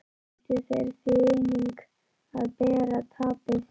Ættu þeir því einnig að bera tapið.